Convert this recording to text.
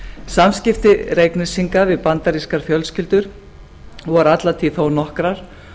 samskipti reyknesinga við bandarískar fjölskyldur voru alla tíð þó nokkrar